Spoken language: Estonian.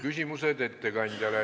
Küsimused ettekandjale.